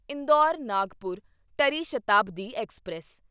ਇੰਦੌਰ ਨਾਗਪੁਰ ਟਰੀ ਸ਼ਤਾਬਦੀ ਐਕਸਪ੍ਰੈਸ